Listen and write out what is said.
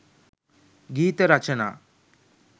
ගීත රචනා